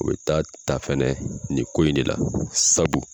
O be taa ta fɛnɛ nin ko in de la sabu